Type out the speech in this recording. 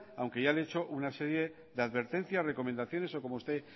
aunque ya han hecho una serie de advertencias recomendaciones o como usted